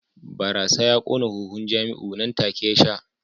Barasa ya kona huhun Jamiu nan take ya sha